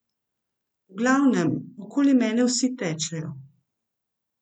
V glavnem, okoli mene vsi tečejo.